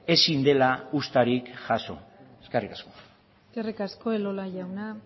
ezin dela uztarik jaso eskerrik asko eskerrik asko elola jauna